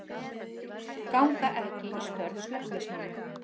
Ganga ekki í störf slökkviliðsmanna